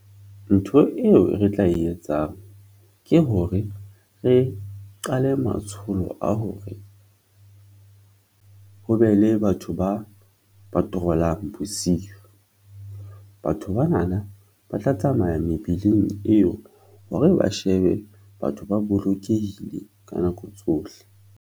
Ntho eo re tla e etsang ke hore re qale matsholo a hore ho be le batho ba patrol-ang bosiu ng. Batho banana ba tla tsamaya mebileng eo hore ba shebe batho ba bolokehile ka nako tsohle.